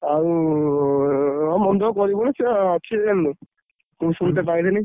ଆଉ ମନ ଦୁଖ କରିବୁନୁ ସିଏ ଅଛି ଜାଣିଲୁ, ମୁଁ ସୁନତେ ପାଇଲିନି।